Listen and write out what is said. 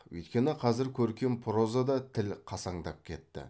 өйткені қазір көркем прозада тіл қасаңдап кетті